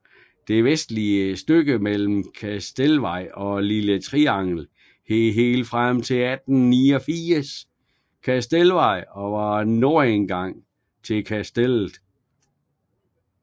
Det vestligste stykke mellem Kastelsvej og Lille Triangel hed helt frem til 1889 Kastelsvej og var nordindgang til Kastellet